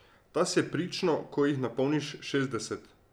Ta se prično, ko jih napolniš šestdeset.